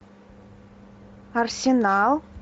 арсенал